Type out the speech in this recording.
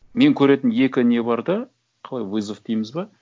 мен көретін екі не бар да қалай вызов дейміз бе